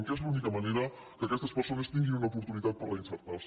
que és l’única manera que aquestes persones tinguin una oportunitat per reinserir se